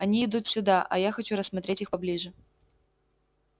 они идут сюда а я хочу рассмотреть их поближе